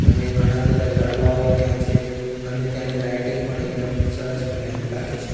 અને ઘણા બધા ઝાડવાઓ ત્યાં છે અને ત્યાંની લાઇટિંગ પણ એકદમ સરસ મજાની લાગે છે.